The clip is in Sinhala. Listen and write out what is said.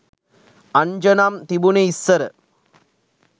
අංජනම් තිබුනේ ඉස්සර